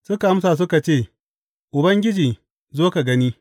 Suka amsa suka ce, Ubangiji zo ka gani.